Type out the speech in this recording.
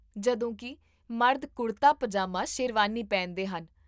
ਜਦੋਂਕਿ ਮਰਦ ਕੁੜਤਾ, ਪਜਾਮਾ, ਸ਼ੇਰਵਾਨੀ ਪਹਿਨਦੇ ਹਨ